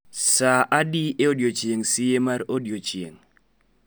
saa adi e odiechieng ' sie mar odiechieng '